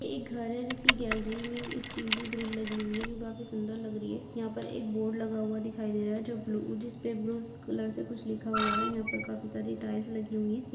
एक घर है जिसके गैलरी में स्टील की ग्रिल लगी हुई है जो काफी सुंदर लग रही है। यहाँ पर एक बोर्ड लगा हुआ दिखाई दे रहा है जो ब्लू जिस पे ब्लू कलर से कुछ लिखा हुआ है। यहाँ पे काफी सारी टाइल्स लगी हुई है। ये --